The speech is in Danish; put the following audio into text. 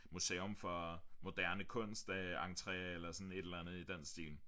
Museum for moderne kunst øh entré eller sådan et eller andet i den stil